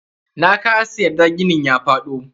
Nakasa yarda ginin ya faɗo.